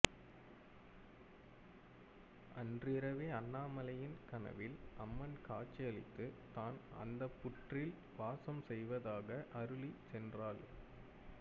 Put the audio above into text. அன்றிரவே அண்ணாமலையின் கனவில் அம்மன் காட்சி அளித்து தான் அந்த புற்றில் வாசம் செய்வதாக அருளி சென்றாள்